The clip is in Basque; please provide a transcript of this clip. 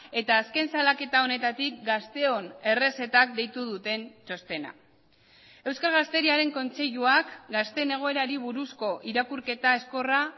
eta azken salaketa honetatik gazteon errezetak deitu duten txostena euskal gazteriaren kontseiluak gazteen egoerari buruzko irakurketa ezkorra